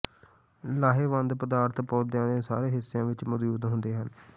ਲਾਹੇਵੰਦ ਪਦਾਰਥ ਪੌਦਿਆਂ ਦੇ ਸਾਰੇ ਹਿੱਸਿਆਂ ਵਿੱਚ ਮੌਜੂਦ ਹੁੰਦੇ ਹਨ